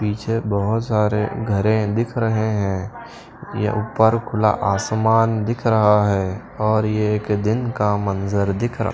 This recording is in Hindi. पीछे बहुत सारे घरे दिख रहे हैं यह ऊपर खुला आसमान दिख रहा है और ये एक दिन का मंजर दिख रहा--